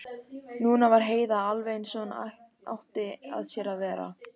Núna var Heiða alveg eins og hún átti að sér að vera.